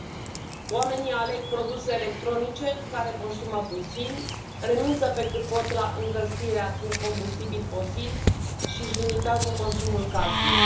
Domnule președinte, oamenii aleg produse electronice care consumă puțin, renunță pe cât pot la încălzirea cu combustibili fosili și își limitează consumul casnic.